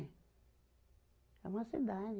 É uma cidade.